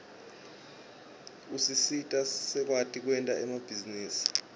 usisita sikwati kwenta emabhizinisi